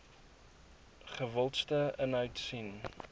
gewildste inhoud sien